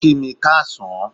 O ki mi káasán